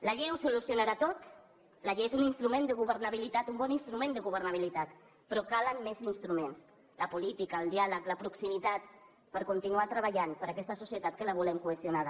la llei ho solucionarà tot la llei és un instrument de governabilitat un bon instrument de governabilitat però calen més instruments la política el diàleg la proximitat per continuar treballant per aquesta societat que la volem cohesionada